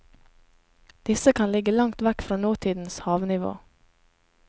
Disse kan ligge langt vekk fra nåtidens havnivå.